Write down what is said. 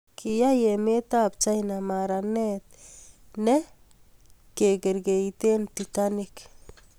kiyai emetab China maranet nep kekerkeiten "titanic"